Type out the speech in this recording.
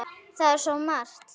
Það er svo margt.